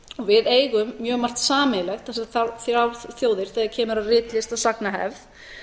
við eigum mjög margt sameiginlegt þessar þrjár þjóðir þegar kemur að ritlist og sagnahefð